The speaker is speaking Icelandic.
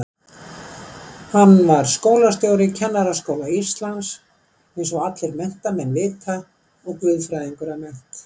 Hann var skólastjóri Kennaraskóla Íslands eins og allir menntamenn vita og guðfræðingur að mennt.